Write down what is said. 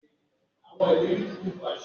Màá ra ẹ̀rọ ìtẹmií láìpẹ́